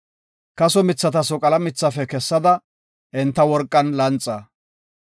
Kaso mithata soqala mithafe kessada, enta worqan lanxa.